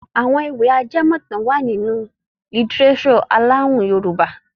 Àwọn ewì ajẹmọ̀tàn wà nínú lítíréṣọ̀ alohùn Yorùbá.